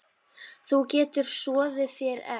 Þú getur soðið þér egg